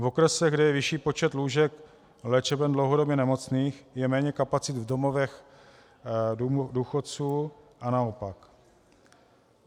V okresech, kde je větší počet lůžek léčeben dlouhodobě nemocných, je méně kapacit v domovech důchodců a naopak.